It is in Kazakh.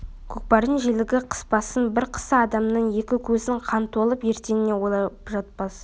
көкпардың желігі қыспасын бір қысса адамның екі көзіне қан толып ертеңін ойлап жатпас